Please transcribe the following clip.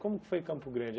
Como foi Campo Grande?